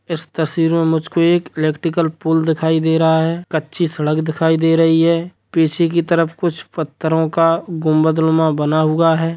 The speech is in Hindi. इस तस्वीर में मुझको एक इलेक्ट्रिकल पोल दिखाई दे रहा है कच्ची सड़क दिखाई दे रही है पीछे की तरफ कुछ पत्थरो का गुंबद नुमा बना हुआ है।